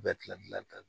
Bɛɛ kila